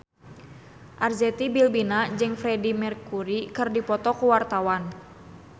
Arzetti Bilbina jeung Freedie Mercury keur dipoto ku wartawan